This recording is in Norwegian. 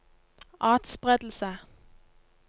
atspredelse